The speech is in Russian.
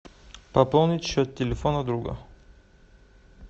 пополнить счет телефона друга